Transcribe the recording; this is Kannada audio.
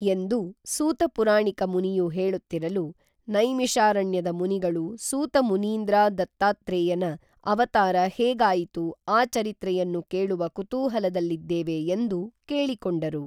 ಎಂದು ಸೂತಪುರಾಣಿಕ ಮುನಿಯು ಹೇಳುತ್ತಿರಲು ನೈಮಿಷಾರಣ್ಯದ ಮುನಿಗಳು ಸೂತ ಮುನೀಂದ್ರಾ ದತ್ತಾತ್ರೇಯನ ಅವತಾರ ಹೇಗಾಯಿತು ಆ ಚರಿತ್ರೆಯನ್ನು ಕೇಳುವ ಕುತೂಹಲದಲ್ಲಿದ್ದೇವೆ ಎಂದು ಕೇಳಿಕೊಂಡರು